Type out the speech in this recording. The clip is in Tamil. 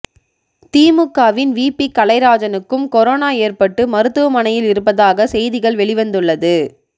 திமுகவின் விபி கலைராஜனுக்கும் கொரனோ ஏற்பட்டு மருத்துவமனையில் இருப்பதாக செய்திகள் வெளிவந்துள்ளது